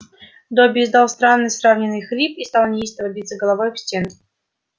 добби издал странный сдавленный хрип и стал неистово биться головой об стену